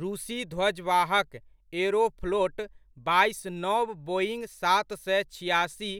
रूसी ध्वजवाहक एअरोफ़्लोट बाइस नव बोईंङ्ग सात सए छिआसी